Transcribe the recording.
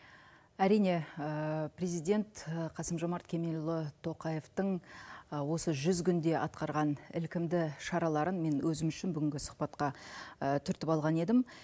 әрине президент қасым жомарт кемелұлы тоқаевтың осы жүз күнде атқарған ілкімді шараларын мен өзім үшін бүгінгі сұхбатқа түртіп алған едім